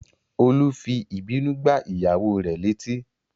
Olú fi ìbínú gbá ìyàwó rè létí